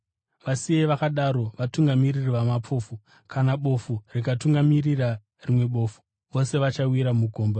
Vasiyei vakadaro, vatungamiriri vamapofu. Kana bofu rikatungamirira rimwe bofu, vose vachawira mugomba.”